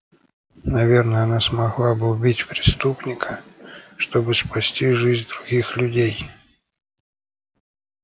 наверное она смогла бы убить преступника чтобы спасти жизнь других людей